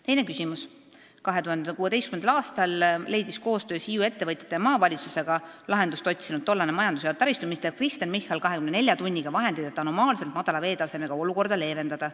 Teine küsimus: "2016 leidis koostöös Hiiu ettevõtjate ja maavalitsusega lahendust otsinud tollane majandus- ja taristuminister Kristen Michal 24 tunniga vahendid, et anomaalselt madala veetasemega olukorda leevendada.